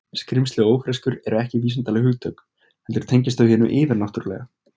Skrímsli og ófreskjur eru ekki vísindaleg hugtök heldur tengjast þau hinu yfirnáttúrulega.